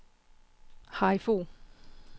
Harry Fogh